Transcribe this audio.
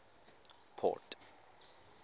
port